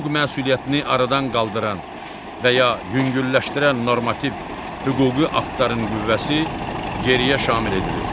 hüquq məsuliyyətini aradan qaldıran və ya yüngülləşdirən normativ hüquqi aktların qüvvəsi geriyə şamil edilir.